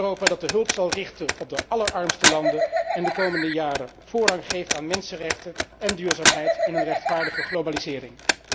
Een Europa dat de hulp zal richten op de allerarmste landen en de komende jaren voorrang geeft aan mensenrechten en duurzaamheid in een rechtvaardige globalisering.